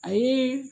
A ye